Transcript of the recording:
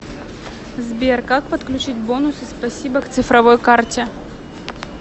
сбер как подключить бонусы спасибо к цифровой карте